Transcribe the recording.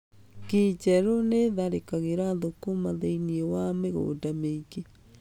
Ngi njerũ nĩ itharĩkagĩra thũkũma thĩiniĩ wa mĩgunda mĩingĩ.